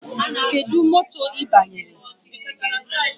Kedụ moto ị banyere?